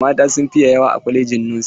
Mata sun fi yawa a kwalajin nosin.